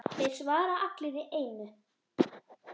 Þeir svara allir í einu.